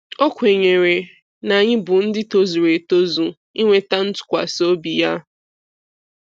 O kwenyere na anyị bụ ndị tozuru etozu inweta ntụkwasị obi Ya.